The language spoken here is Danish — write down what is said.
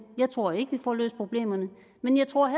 jeg tror ikke vi får løst problemerne men jeg tror